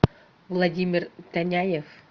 владимир таняев